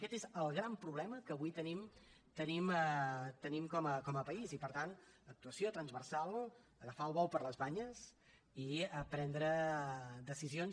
aquest és el gran problema que avui tenim com a país i per tant actuació transversal agafar el bou per les banyes i prendre decisions